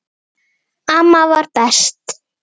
Amma var best.